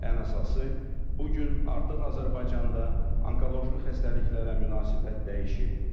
Ən əsası, bu gün artıq Azərbaycanda onkoloji xəstəliklərə münasibət dəyişib.